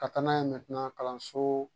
Ka taa n'a ye kalanso